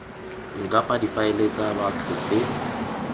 ncpa difaele tsa batho tse